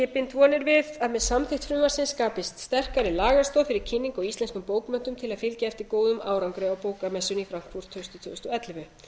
bind vonir við að með samþykkt frumvarpsins skapist sterkari lagastoð fyrir kynningu á íslenskum bókmenntum til að fylgja eftir góðum árangri á bókamessunni í frankfurt haustið tvö þúsund og ellefu